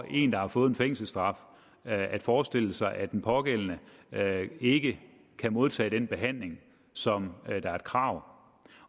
en der har fået en fængselsstraf at forestille sig at den pågældende ikke kan modtage den behandling som er et krav